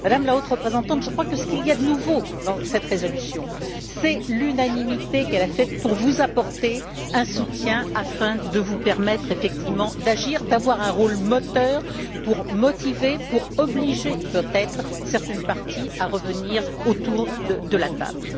Madame la Haute représentante, je crois que ce qu'il y a de nouveau dans cette résolution, c'est l'unanimité obtenue afin de vous apporter un soutien qui vous permettra effectivement d'agir et d'avoir un rôle moteur pour motiver et pour obliger peut être certaines parties à revenir autour de la table.